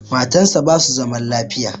Matan sa basu zaman lafiya